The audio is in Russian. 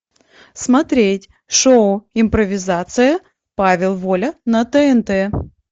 смотреть шоу импровизация павел воля на тнт